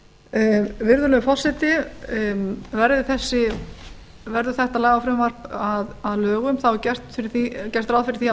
ákveður virðulegi forseti verði þetta lagafrumvarp að lögum þá er gert ráð fyrir því að